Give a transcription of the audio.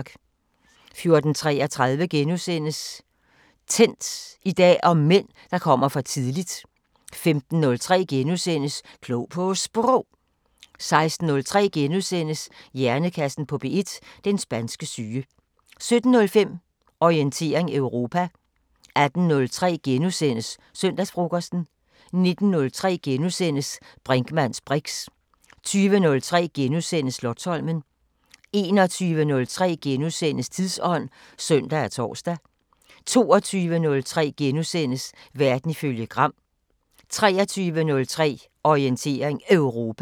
14:33: Tændt: I dag om mænd, der kommer for tidligt * 15:03: Klog på Sprog * 16:03: Hjernekassen på P1: Den spanske syge * 17:05: Orientering Europa 18:03: Søndagsfrokosten * 19:03: Brinkmanns briks * 20:03: Slotsholmen * 21:03: Tidsånd *(søn og tor) 22:03: Verden ifølge Gram * 23:03: Orientering Europa